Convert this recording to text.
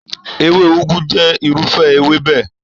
Èwe Ugwu jẹ́ irúfẹ́ ewébẹ̀.